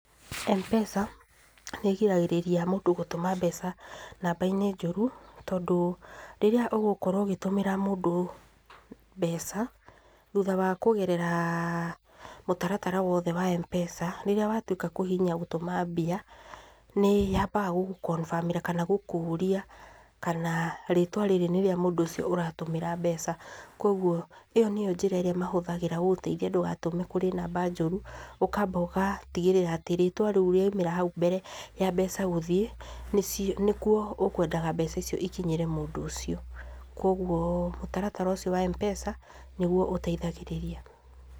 M-pesa nĩgiragĩrĩria mũndũ gũtũma mbeca namba-inĩ njũru, tondũ, rĩrĩa ũgũkorwo gĩtũmĩra mũndũ mbeca, thũtha wa kũgerera mũtaratara wothe wa M-pesa, rĩrĩa watuĩka kũhihinya gũtũma mbia, nĩ yambaga gũgũ confirm ĩra, kana gũkũrĩa, kana rĩtwa rĩrĩ nĩ rĩa mũndũ ũcio ũratũmĩra mbeca, kwoguo ĩyo nĩyo njĩra ĩrĩa mahũthagĩra gũgũteithia ndũgatũme kũrĩ namba njũru, ũkamba ũgatigĩrĩra atĩ rĩtwa rĩu rĩamĩra haũ mbere ya mbeca gũthiĩ, nĩ cio nĩ kuo ũkwenda mbeca icio ikinyĩre mũndũ ũcio, kwoguo mũtaratara ũcio wa M-pesa, nĩguo ũteithagĩrĩria.